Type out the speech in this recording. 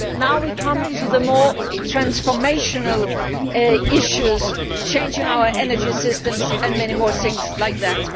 Now we come to the more transformational issues, changing our energy systems and many more things like that.